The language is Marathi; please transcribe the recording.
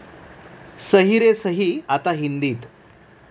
सही रे सही' आता हिंदीत